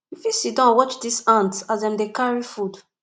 you fit siddon watch dese ants as dem dey carry food